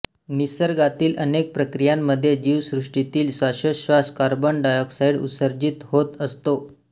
निसर्गातील अनेक प्रकियांमध्ये जीवसृष्टीतील श्वासोछ्वास कार्बन डायॉक्साईड उत्सर्जित होत असतो